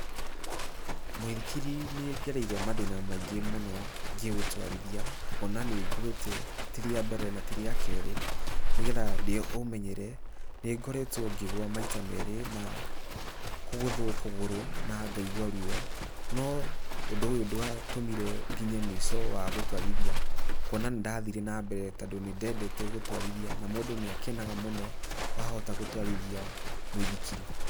Mũithikiri nĩ ngereire mathĩna maingĩ mũno ngĩũtwarithia, kuona nĩ ngwĩte ti rĩa mbere na ti rĩa kerĩ, nĩgetha ndĩũmenyere, nĩngoretwo ngĩgwa maita merĩ na, kũgũthwo kũgũrũ, na ngaigua ruo, no ũndũ ũyũ ndwatũmire nginye mũico wa gũtwarithia, kuona nĩ ndathire na mbere tondũ nĩ ndendete gũtwarithia na mũndũ nĩ akenaga mũno, wahota gũtwarithia mũithikiri.